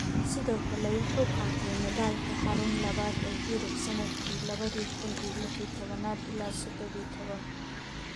Sidoo kale wuxuu qaatay medaalka xarun labaad ee Yurub sanadkii lawadhi kun iyo lixyo tawan ila sodowo iyo tawan.